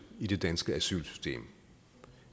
i det danske asylsystem